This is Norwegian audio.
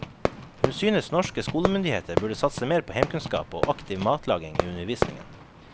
Hun synes norske skolemyndigheter burde satse mer på heimkunnskap og aktiv matlaging i undervisningen.